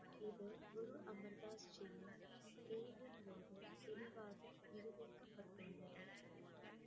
இது குரு அமர் தாஸ் ஜியின் தேர்வின் போது தெளிவாக நிரூபிக்கப்பட்டுள்ளது